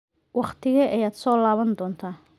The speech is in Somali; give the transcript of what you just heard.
Waqtigee ayaad soo laaban doontaa?